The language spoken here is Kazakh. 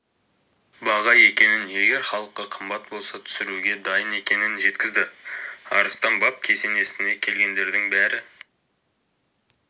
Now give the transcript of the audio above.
баға екенін егер халыққа қымбат болса түсіруге дайын екенін жеткізді арыстан баб кесенесіне келгендердің бәрі